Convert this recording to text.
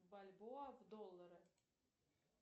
бальбоа в доллары